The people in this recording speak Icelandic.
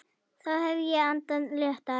Þá hefði ég andað léttar.